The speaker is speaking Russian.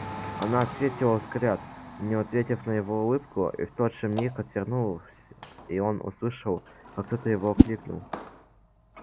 она ответила взгляд не ответив на его улыбку и в тот же миг отвернулся и он услышав как кто-то его окликнул